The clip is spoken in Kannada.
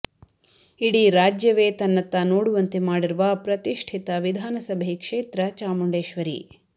ಇಡೀ ರಾಜ್ಯವೇ ತನ್ನತ್ತ ನೋಡುವಂತೆ ಮಾಡಿರುವ ಪ್ರತಿಷ್ಠಿತ ವಿಧಾನಸಭೆ ಕ್ಷೇತ್ರ ಚಾಮುಂಡೇಶ್ವರಿ